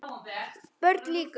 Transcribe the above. BÖRN LÝKUR